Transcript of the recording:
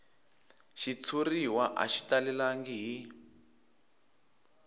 xitshuriwa a xi talelangi hi